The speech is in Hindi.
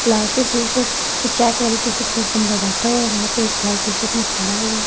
लाल सी टी-शर्ट की चैक वाली टी-शर्ट में एक बंदा बैठा हुआ हैं वहाँ पे एक ब्लैक टीशर्ट में खड़ा हुआ हैं ।